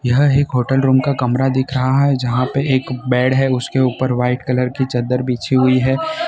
यह एक hotel room का कमरा दिख रहा है जहां पे एक बेड है उसके ऊपर व्हाइट कलर की चद्दर बिछी हुई है।